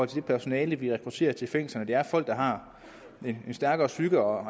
det personale vi rekrutterer til fængslerne at det er folk der har en stærkere psyke og